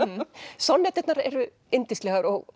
sorgbitinn sonnetturnar eru yndislegar og